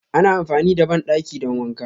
Ana amfani da bandaki don wanka.